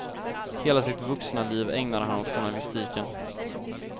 Hela sitt vuxna liv ägnade han åt journalistiken.